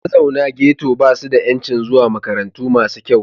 Mazaunan Ghetto ba su da 'yancin zuwa makarantu masu kyau.